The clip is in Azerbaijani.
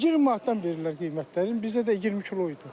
20 manatdan verirlər qiymətlərini, bizə də 20 kilo idi.